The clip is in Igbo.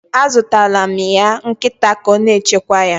A zụtaala mụ ya nkịta ka o na-echekwa ya.